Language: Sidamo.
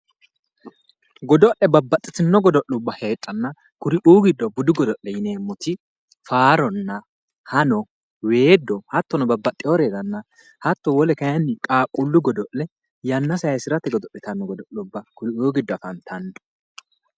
Godo'le babbaxitino godo'luwa heedhano kuriuu giddo budu godo'le yineemmoti faaronna ,hanno, weedo hattono babbaxinoriranna hatto wole kayinni qaaqqulu godo'le yanna saysirate godo'littanno godo'lubba kuriuu giddo afantano.